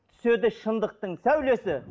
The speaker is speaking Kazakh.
түседі шындықтың сәулесі